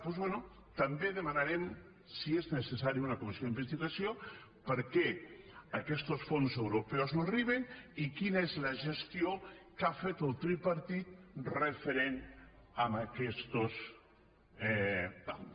doncs bé també demanarem si és necessari una comissió d’investigació perquè aquestos fons europeus no arriben i quina és la gestió que ha fet el tripartit referent a aquestos tals